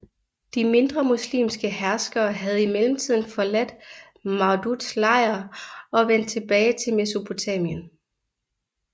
De mindre muslimske herskere havde i mellemtiden forladt Mawduds lejr og vendt tilbage til Mesopotamien